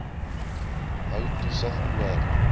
hou toesig oor